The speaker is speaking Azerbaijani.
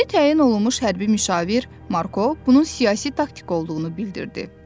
Yeni təyin olunmuş hərbi müşavir Marko bunun siyasi taktika olduğunu bildirdi.